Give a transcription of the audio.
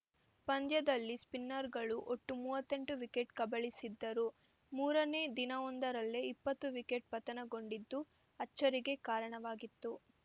ಪಂದ್ಯದಲ್ಲಿ ಸ್ಪಿನ್ನರ್‌ಗಳು ಒಟ್ಟು ಮೂವತ್ತೆಂಟು ವಿಕೆಟ್‌ ಕಬಳಿಸಿದ್ದರು ಮೂರನೇ ದಿನವೊಂದರಲ್ಲೇ ಇಪ್ಪತ್ತು ವಿಕೆಟ್‌ ಪತನಗೊಂಡಿದ್ದು ಅಚ್ಚರಿಗೆ ಕಾರಣವಾಗಿತ್ತು